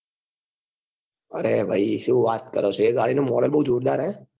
અરે ભાઈ શું વાત કરો છો એ ગાડી નું model બઉ જોરદાર છે